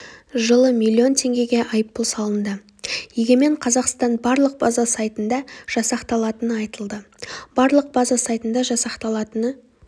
жылы миллион теңгеге айыппұл салынды егемен қазақстан барлық база сайтында жасақталатыны айтылды барлық база сайтында жасақталатыны